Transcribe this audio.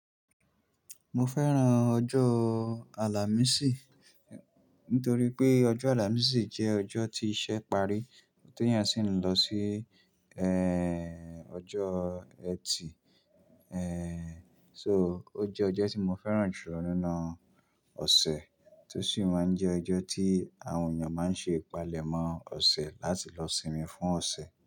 Mo fẹ́ran ọjọ́ Àlàmísì nítorí pé ọjọ́ Àlàmísì jẹ́ ọjọ́ tí iṣẹ́ parí tó eeyan sì ń lọ sí ẹ́ẹ́ ọjọ́ Ẹtì. Ehn, so ó jẹ́ ọjọ́ tí mo fẹ́ran jù lọ nínú ọ̀sẹ̀ tí ó sì máa ń jẹ́ ọjọ́ tí àwọn èèyàn máa ń ṣe ìpalẹ̀mọ́ ọ̀sẹ̀ láti lọ sinmi fún ọ̀sẹ̀